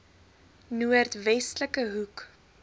noord westelike hoek